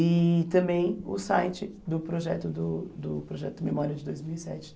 e também o site do projeto do do projeto Memória de dois mil e sete